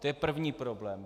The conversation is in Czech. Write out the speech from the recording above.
To je první problém.